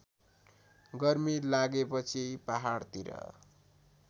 गर्मी लागेपछि पहाडतिर